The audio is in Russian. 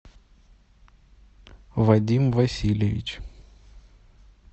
вадим васильевич